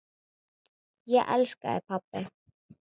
Ég elska þig pabbi.